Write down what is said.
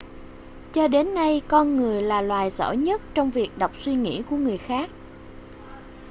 cho đến nay con người là loài giỏi nhất trong việc đọc suy nghĩ của người khác